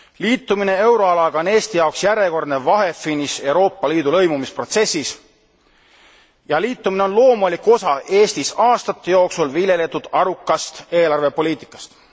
Liitumine euroalaga on Eesti jaoks järjekordne vahefiniš Euroopa Liidu lõimumisprotsessis ja liitumine on loomulik osa Eestis aastate jooksul viljeletud arukast eelarvepoliitikast.